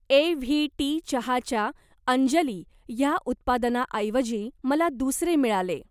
AVT चहाच्या अंजली ह्या उत्पादनाऐवजी मला दुसरे मिळाले.